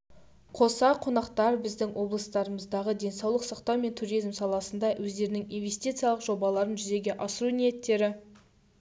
қоса қонақтар біздің облысымыздағы денсаулық сақтау мен туризм саласында өздерінің инвестициялық жобаларын жүзеге асыру ниеттері